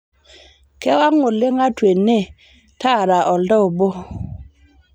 kewang' oleng atua ene tara oltaa obo